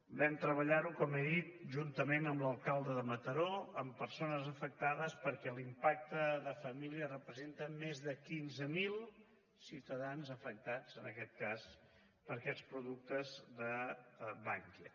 vam treballar ho com he dit juntament amb l’alcalde de mataró amb persones afectades perquè l’impacte de famílies representa més de quinze mil ciutadans afectats en aquest cas per aquests productes de bankia